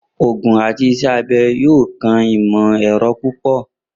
Oogun ati Iṣẹ abẹ yoo kan imọ-ẹrọ pupọ.